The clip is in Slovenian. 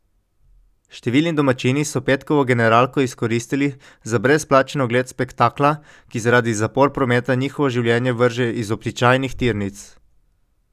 Številni domačini so petkovo generalko izkoristili za brezplačen ogled spektakla, ki zaradi zapor prometa njihovo življenje vrže iz običajnih tirnic.